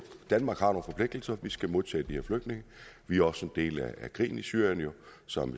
forpligtelser vi skal modtage de her flygtninge vi er også en del af krigen i syrien som